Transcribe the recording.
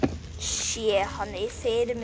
Sé hann fyrir mér.